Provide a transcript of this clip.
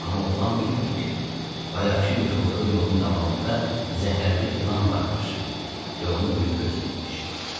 Amma oğlan bilmədi ki, bayaqkı yıxıldığı yolun davamında zəhərli ilan varmış və onu ölüm gözləyirmiş.